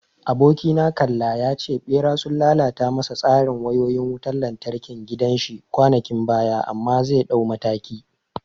Abokina kalla ya ce Ɓera sun lalata masa tsarin wayoyin wutan lantarkin gidan shi kwanakin baya amma zai dauki mataki.